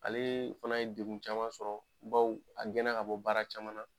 Ale fana ye degun caman sɔrɔ bawo a gɛnna ka bɔ baara caman na.